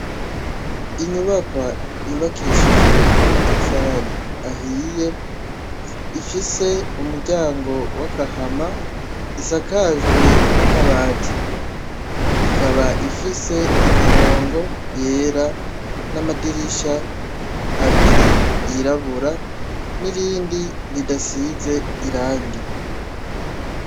Inyubakwa yubakishijwe n'amatafari ahiye, ifise umuryango w'agahama ,isakajwe n'amabati, ikaba ifise imirongo yera n'amadirisha abiri yirabura ,nirindi ridasize irangi.